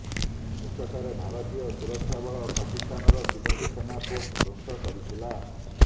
ନିକଟରେ ଭାରତୀୟ ସୁରକ୍ଷାବଳ ପାକିସ୍ତାନର ତିନୋଟି ସେନା ପୋଷ୍ଟ ଧ୍ୱଂସ କରିଥିଲା